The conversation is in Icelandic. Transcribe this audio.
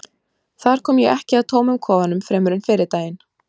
þar kom ég ekki að tómum kofanum fremur en fyrri daginn